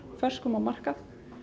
ferskum á markað